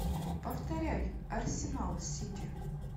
повторяй арсенал сити